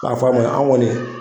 Ka an kɔni